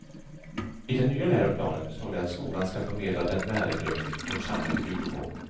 I den nya läroplanen står det att skolan ska förmedla den värdegrund vårt samhälle bygger på.